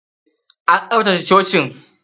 An tsaftace cocin?